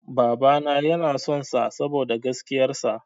Babana yana son sa saboda gaskiyar sa.